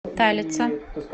талица